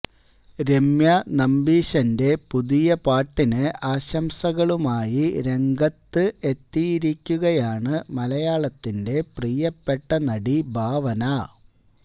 രമ്യാ നമ്പീശന്റെ പുതിയ പാട്ടിന് ആശംസകളുമായി രംഗത്ത് എത്തിയിരിക്കുകയാണ് മലയാളത്തിന്റെ പ്രിയപ്പെട്ട നടി ഭാവന